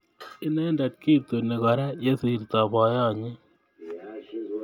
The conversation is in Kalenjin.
Inendet ketuni Kora yesirto boiyonyi